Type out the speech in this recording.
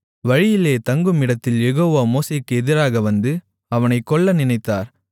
வழியிலே தங்கும் இடத்தில் யெகோவா மோசேக்கு எதிராக வந்து அவனைக் கொல்லநினைத்தார்